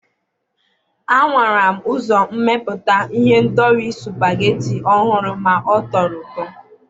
a nwara m uzommeputa ihendori supageti ọhụrụ ma ọ tọrọ ụtọ.